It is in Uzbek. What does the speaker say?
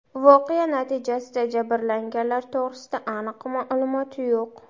Voqea natijasida jabrlanganlar to‘g‘rida aniq ma’lumot yo‘q.